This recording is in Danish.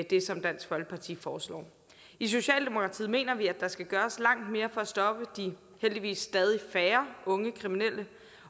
det som dansk folkeparti foreslår i socialdemokratiet mener vi at der skal gøres langt mere for at stoppe de heldigvis stadig færre unge kriminelle